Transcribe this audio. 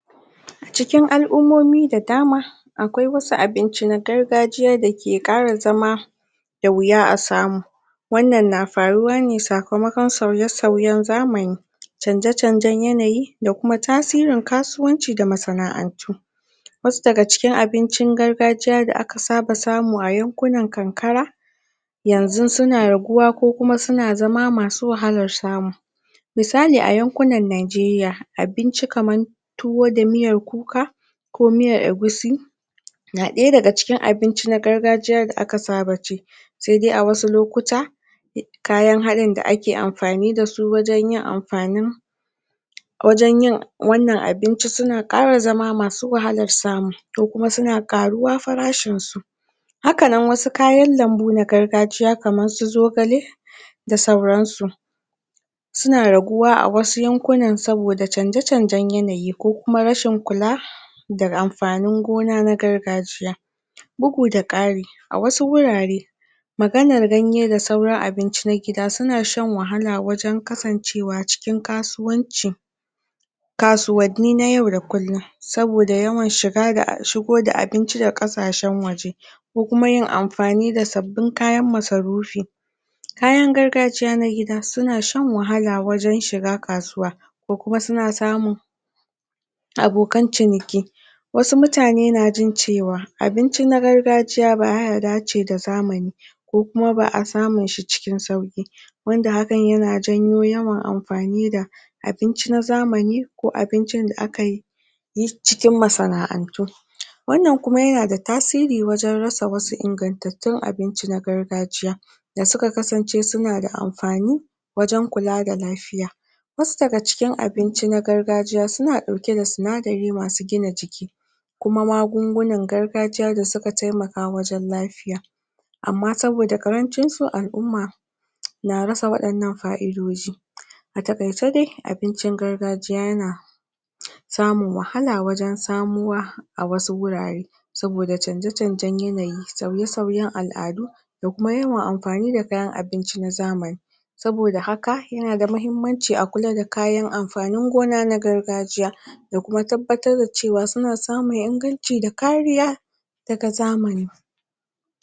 A Cikin alʼummomi da dama akwai wasu abinci na gargajiya dake ƙara zama da wuya a samu wannan na faruwane sakamakon sauye sauyen zamani canje canjen yanayi da Kuma tasirin kasuwanci da masanaʼantu wasu daga cikin abincin gargajiya da aka saba samu a yankunan karkara yanzu suna raguwa ko Kuma suna zama masu wahalar samu misali a yankunan nijeria abinci kamar tuwo da miyar Kuka ko miyar egusi na ɗaya daga cikin abincin gargajiya da aka saba ci saidai a wasu lokuta kayan halinda ake anfani dasu wajen yin amfanin wannan abinci suna ƙara zama masu wahalar samu ko Kuma suna ƙaruwa farashinsu hakanan Wasu kayan lambu na gargajiya na kamarsu zogale da dai sauransu suna raguwa a wasu yankunan saboda canje canjen yanayi ko Kuma rashin kula da anfanin gona na gargajiya bugu da kari a wasu wurare maganar ganye da sauran abinci na gida suna shan wahala wajen kasancewa cikin kasuwanci, kasuwanni na yau da kullum saboda yawan shigo da abinci daga ƙasashen waje ko kuma yin anfani da sabbin kayan masarufi kayan gargajiya na Gida suna shan wahala wajen shiga kasuwa ko Kuma suna samun abokan ciniki wasu mutane na jin cewa abincin gargajiya baya dace da zamani ko Kuma baʼa samunshi cikin sauƙi wanda hakan yana janyo yawan anfani da abinci na zamani ko abincin da akayi cikin masanaʼantu wannan Kuma yanada tasiri wajen rasa wasu ingatattun abinci na gargajiya da suka kasance sunada anfani wajen kulada lafiya wasu daga cikin abinci na gargajiya suna ɗauke da sinadari masu gina jiki da kuma magungunan gargajiya da suka taimaka wajen lafiya Amma saboda ƙarancinsu alʼumma na rasa waɗannan fa'idoji a taƙaice dai abincin gargajiya yana samun wahala wajen samuwa a wasu wurare saboda canje canjen yanayi sauye sauyen alʼadu da kuma yawan anfani da kayan abinci na zamani saboda haka yanada muhimmanci wajen kula da kayan anfanin gona na gargajiya da Kuma tabbatar da cewa suna samun inganci da kariya daga zamani